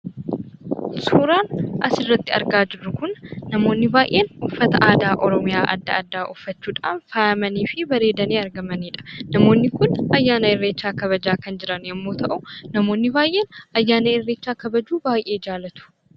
Suuraan asirratti argaa jirru kun namoonni baay'een uffata aadaa oromiyaa adda addaa uffachuudhaan faayamanii fi bareedanii argamanidha. Namoonni kun ayyaana irreechaa kabajaa kan jiran yemmuu ta'u, namootni baay'een ayyaana irreechaa kabajuu baay'ee jaallatu.